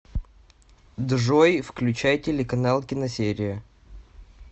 джой включай телеканал киносерия